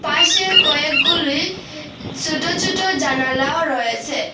পাশে কয়েকগুলি ছুটো ছুটো জানালাও রয়েসে।